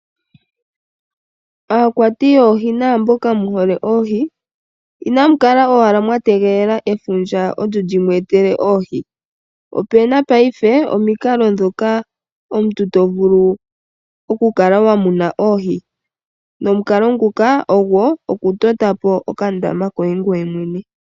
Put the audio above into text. Aakwati yoohi naamboka mu hole oohi, inamu kala owala mwa tegelela efundja olyo limu etele oohi. Opuna paife omikalo dhoka omuntu to vulu okukala wa muna oohi , nomukalo nguka ogwo okutota po okandama koye ngoye mwene.